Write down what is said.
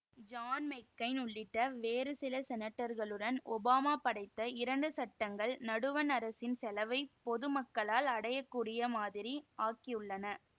John McCain உள்ளிட்ட வேறு சில செனட்டர்களுடன் ஒபாமா படைத்த இரண்டு சட்டங்கள் நடுவண் அரசின் செலவை பொது மக்களால் அடையகூடிய மாதிரி ஆக்கியுள்ளன